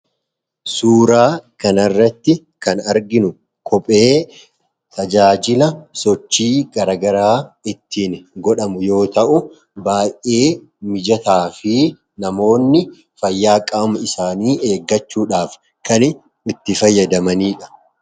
suuraa kanarratti kan arginu kophee tajaajila sochii garagaraa ittiin godhamu yoo ta'u baa'ee mijataa fi namoonni fayyaaqaamu isaanii eeggachuudhaaf kan itti fayyadamaniidha